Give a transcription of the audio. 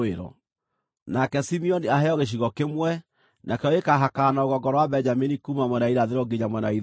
“Nake Simeoni aheo gĩcigo kĩmwe; nakĩo gĩkaahakana na rũgongo rwa Benjamini kuuma mwena wa irathĩro nginya mwena wa ithũĩro.